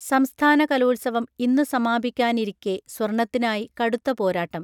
സംസ്ഥാന കലോത്സവം ഇന്നു സമാപിക്കാനിരിക്കേ സ്വർണത്തിനായി കടുത്ത പോരാട്ടം